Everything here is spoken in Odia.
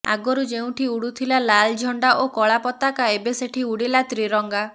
ଆଗରୁ ଯେଉଁଠି ଉଡୁଥିଲା ଲାଲ୍ ଝଣ୍ଡା ଓ କଳା ପତାକା ଏବେ ସେଠି ଉଡିଲା ତ୍ରିରଙ୍ଗା